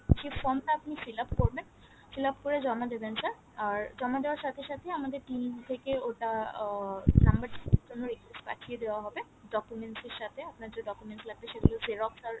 সে form টা আপনি fill up করবেন fill up করে জমা দেবেন sir আর জমা দেওয়ার সাথে সাথে আমাদের team থেকে ওটা আহ number change আরে জন্য request পাঠিয়ে দেওয়া হবে documents এর সাথে আপনার documents লাগবে সেগুলো xerox আর